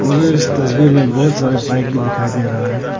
मुझे इस तस्वीर में बहुत सारे बाइक भी दिखाई दे रहा है।